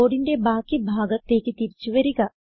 കോഡിന്റെ ബാക്കി ഭാഗത്തേക്ക് തിരിച്ചു വരിക